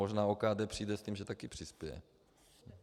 Možná OKD přijde s tím, že také přispěje.